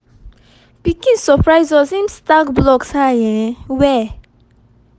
pikin surprise us him stack blocks high um well